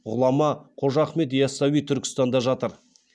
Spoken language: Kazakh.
ғұлама қожа ахмет ясауи түркістанда жатыр